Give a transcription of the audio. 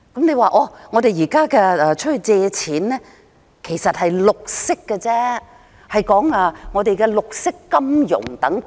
你說現在向外借錢，其實是為綠色項目融資，說的是綠色金融等。